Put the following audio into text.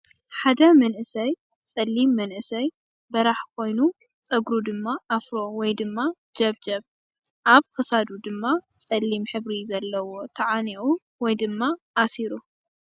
ሓደ መንእሰይ 'ሊም መንእሰይ በራሕ ኮይኑ ፀጉሩ ድማ ኣፍሮ ወይ ድማ ጀብጀብ ። ኣብ ክሳዱ ድማ 'ሊም ሕብሪ ዘለዎ ተዓኒቁ ወይ ድማ ኣሲሩ ።